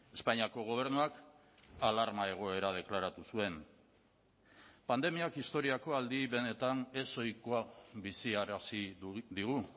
espainiako gobernuak alarma egoera deklaratu zuen pandemiak historiako aldi benetan ezohikoa biziarazi digu